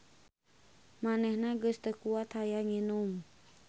Manehna geus teu kuat hayang nginum.